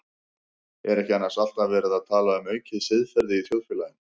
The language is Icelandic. Er ekki annars alltaf verið að tala um aukið siðferði í þjóðfélaginu?